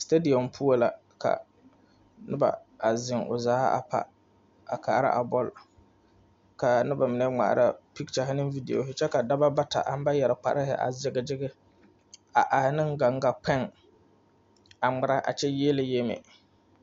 Stadium poɔ la a noba a seŋ o zaa a pa a kaara a bɔl kaa noba mine ŋmaara picture ne video kyɛ ka Dɔba bata ŋa ba yɛrɛ kparre a kyege kyege a are gaŋga kpoŋ a ŋmeɛrɛ kyɛ yiele yiele